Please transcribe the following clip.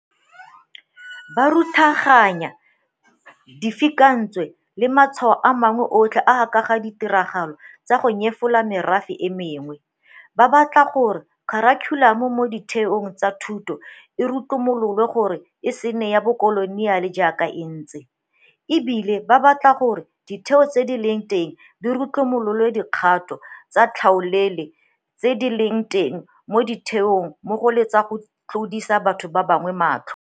Ba ruthaganya difikantswe le matshwao a mangwe otlhe a a ka ga ditiragalo tsa go nyefola merafe e mengwe, ba batla gore kharikhulamo mo ditheong tsa thuto e rutlomololwe gore e se nne ya bokoloniale jaaka e ntse, e bile ba batla gore ditheo tse di leng teng di rutlumolole dikgato tsa tlhaolele tse di leng teng mo ditheong mmogo le tsa go tlodisa batho ba bangwe matlho.